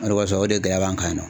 O de kɔsɔn o de gɛya b'an kan nin.